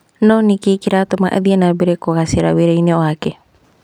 No nĩkĩ kĩratũma athiĩ na mbere na kũgacĩra wĩra-inĩ wake?